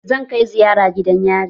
Zan kai ziyara gidan yari.